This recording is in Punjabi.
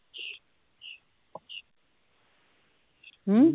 ਹੂ